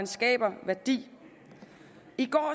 skaber værdi